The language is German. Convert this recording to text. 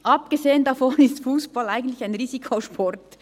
Abgesehen davon ist Fussball eigentlich ein Risikosport.